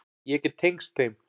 Ég get tengst þeim.